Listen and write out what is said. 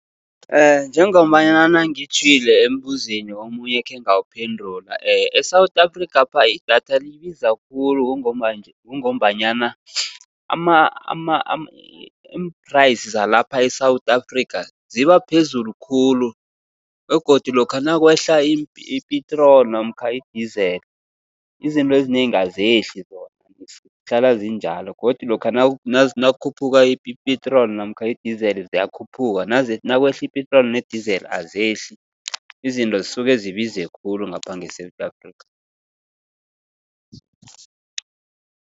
Njengombanyana ngitjhwile embuzweni omunye ekhe ngawuphendula. E-South Afrikhapha idatha libiza khulu kungombanyana imphrayisi zalapha e-South Africa, ziba phezulu khulu begodu lokha nakwehla ipetroli namkha idizeli izinto ezinengi azehli zona, zihlala zinjalo. Godu lokha nakukhuphuka ipetroli namkha idizeli ziyakhuphuka nakwehla ipetroli nedizela azehli. Izinto zisuke zibize khulu ngapha nge-South Africa.